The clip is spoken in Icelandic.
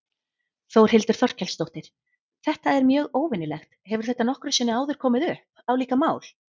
Þórhildur Þorkelsdóttir: Þetta er mjög óvenjulegt, hefur þetta nokkru sinni áður komið upp, álíka mál?